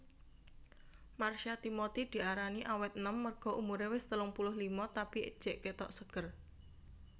Marsha Timothy diarani awet enom merga umure wes telung puluh lima tapi jek ketok seger